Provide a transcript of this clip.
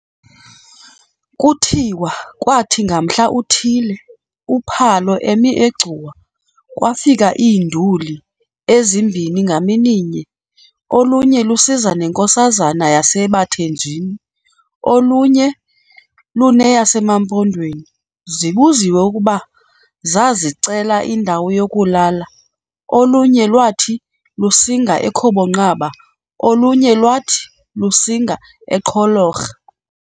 Kuthiwa kwathi ngamhla uthile, uPhalo emi eGcuwa, kwafika "iinduli" ezimbini ngamininye, olunye lusiza nenkosazana yaseBathenjini, olunye luneyasemaMpondweni. Zibuziwe kuba zazicela indawo yokulala, olunye lwaathi lusinga eKhobonqaba, olunye lwathi lusinga eQholorha.